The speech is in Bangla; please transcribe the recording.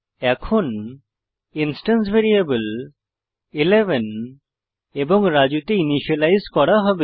এখন ইন্সট্যান্স ভ্যারিয়েবল 11 এবং রাজু তে ইনিসিয়েলাইজ করা হবে